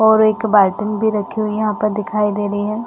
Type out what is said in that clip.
और एक भी रखी हुई यहाँ पे दिखाई दे रही है।